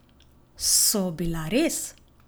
So bila res?